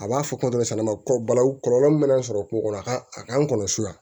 A b'a fɔ kuma dɔ kɔlɔlɔ min mana sɔrɔ kungo kɔnɔ a ka a ka nɔgɔn so yan